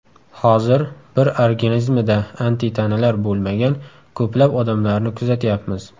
Hozir bir organizmida antitanalar bo‘lmagan ko‘plab odamlarni kuzatyapmiz.